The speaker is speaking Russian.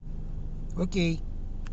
окей